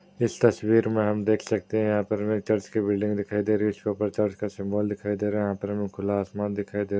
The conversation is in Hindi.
इस तस्वीर में हम देख सकते है यहां पर हमें चर्च की बिल्डिंग दिखाई दे रही है | उसके ऊपर चर्च का सिम्बोल दिखाई दे रहा है | यहां पर हमें खुला आसमान दिखाई दे रहा --